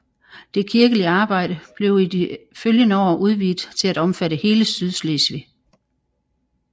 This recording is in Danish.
Det kirkelige arbejde blev i de følgende år udvidet til at omfatte hele Sydslesvig